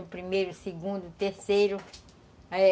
O primeiro, o segundo, o terceiro, é...